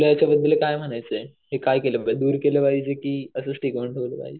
तुला याच्याबद्दल काय म्हणायचंय? की दूर केलं पाहिजे की असंच टिकवून ठेवलं पाहिजे?